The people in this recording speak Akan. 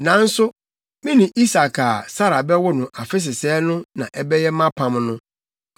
Nanso me ne Isak a Sara bɛwo no afe sesɛɛ no na ɛbɛyɛ mʼapam no.”